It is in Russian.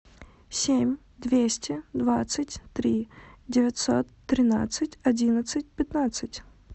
семь двести двадцать три девятьсот тринадцать одиннадцать пятнадцать